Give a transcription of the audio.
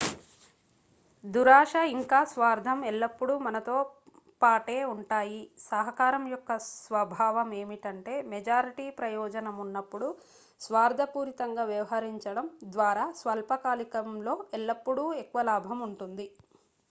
దురాశ ఇంకా స్వార్థం ఎల్లప్పుడూ మనతో పాటే ఉంటాయి సహకారం యొక్క స్వభావం ఏమిటంటే మెజారిటీ ప్రయోజనం ఉన్నప్పుడు స్వార్థపూరితంగా వ్యవహరించడం ద్వారా స్వల్పకాలికంలో ఎల్లప్పుడూ ఎక్కువ లాభం ఉంటుంది